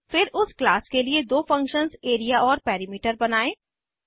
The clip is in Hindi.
फिर उस क्लास के लिए दो फंक्शन्स एरिया और पेरिमीटर बनायें